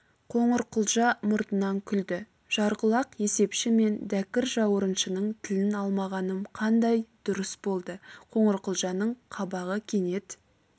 қоңырқұлжа мұртынан күлді жарқұлақ есепші мен дәкір жауырыншының тілін алмағаным қандай дұрыс болды қоңырқұлжаның қабағы кенет